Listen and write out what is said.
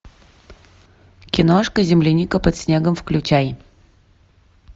киношка земляника под снегом включай